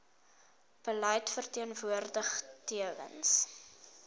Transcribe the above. beleid verteenwoordig tewens